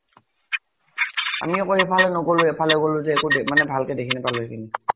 আমি আকৌ, সেইফাল দি নগʼলো, এইফালে গʼলো যে একু মান ভাল কে একু দেখি নাপালো সেইখিনি ।